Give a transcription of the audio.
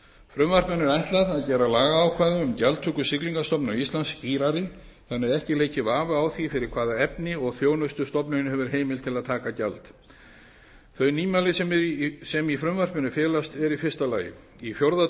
frumvarpinu er ætlað að gera lagaákvæði um gjaldtöku siglingastofnunar íslands skýrari þannig að ekki leiki vafi á því fyrir hvaða efni og þjónustu stofnunin hefur heimild til að taka gjald þau nýmæli sem í frumvarpinu felast eru í fyrsta lagi í fjórða